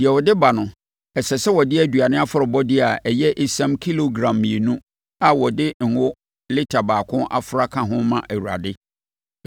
Deɛ ɔde ba no, ɛsɛ sɛ ɔde aduane afɔrebɔdeɛ a ɛyɛ esiam kilogram mmienu a wɔde ngo lita baako afra ka ho ma Awurade.